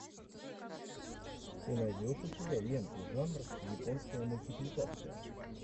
ты найдешь у себя ленту жанр японская мультипликация